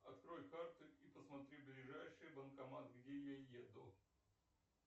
открой карты и посмотри ближайший банкомат где я еду